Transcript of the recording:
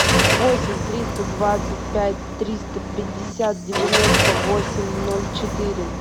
восемь триста двадцать пять триста пятьдесят девяносто восемь ноль четыре